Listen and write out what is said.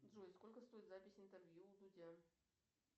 джой сколько стоит запись интервью у дудя